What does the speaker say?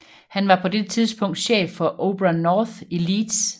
Han var på dette tidspunkt chef for Opera North i Leeds